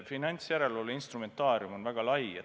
Finantsjärelevalve instrumentaarium on väga lai.